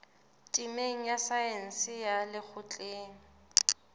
temeng ya saense ya lekgotleng